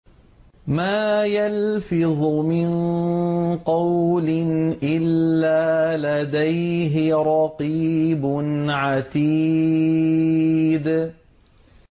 مَّا يَلْفِظُ مِن قَوْلٍ إِلَّا لَدَيْهِ رَقِيبٌ عَتِيدٌ